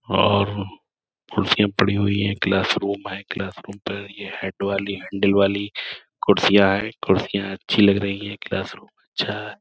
और कुर्सिया पड़ी हुई हैं क्लास रूम है। क्लास रूम पर ये हेड वाली हैंडिल वाली कुर्सियां हैं। कुर्सियां अच्छी लग रही हैं। क्लास रूम अच्छा है।